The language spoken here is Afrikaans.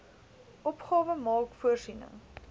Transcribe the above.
opgawe maak voorsiening